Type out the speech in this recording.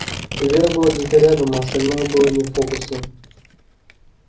вера была где-то рядом а остальное было не в фокусе